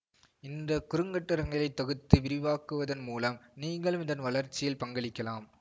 இந்த குறுங்கட்டுரங்களைத் தொகுத்து விரிவாக்குவதன் மூலம் நீங்களும் இதன் வளர்ச்சியில் பங்களிக்கலாம்